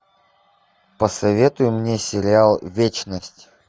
посоветуй мне сериал вечность